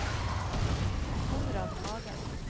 Konrad Hagen